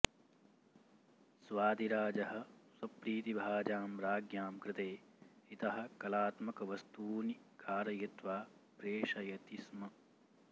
स्वादिराजः स्वप्रीतिभाजां राज्ञां कृते इतः कलात्मकवस्तूनि कारयित्वा प्रेषयति स्म